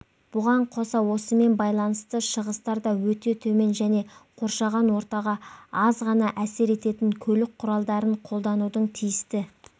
бұған қоса осымен байланысты шығыстар да өте төмен және қоршаған ортаға аз ғана әсер ететін көлік құралдарын қолданудың тиісті